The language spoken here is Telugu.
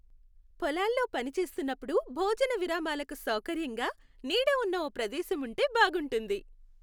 పొలాల్లో పని చేస్తున్నప్పుడు భోజన విరామాలకు సౌకర్యంగా నీడ ఉన్న ఓ ప్రదేశం ఉంటే బాగుంటుంది.